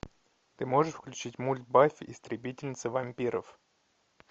ты можешь включить мульт баффи истребительница вампиров